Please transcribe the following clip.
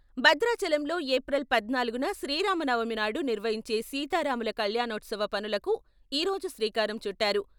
భద్రాచలంలో ఏప్రిల్ పద్నాలుగున శ్రీరామనవమి నాడు నిర్వహించే సీతారాములు కళ్యాణోత్సవ పనులకు ఈ రోజు శ్రీకారం చుట్టారు.